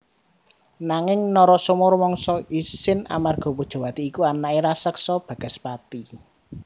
Nanging Narasoma rumangsa isin amarga Pujawati iku anaké raseksa Bagaspati